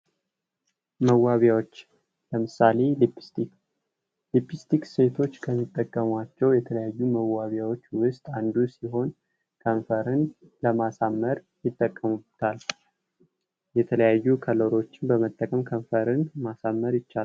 መዋቢያዎች ሊፒስቲክ ሊፕስቲክ ሴቶች ከሚጠቀሟቸው የተለያዩ መዋቢያዎች ዉስጥ አንዱ ሲሆን ከንፈርን ለማሳመር ይጠቀሙበታል። የተለያዩ ከለሮችን በመጠቀም ከንፈርን ማሳመር ይቻላል።